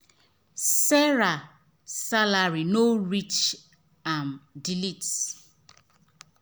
sarah salary no reach am delete